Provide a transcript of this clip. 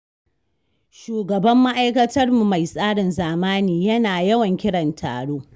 Shugaban ma'aikatar mu mai tsarin zamani yana yawan kiran taro.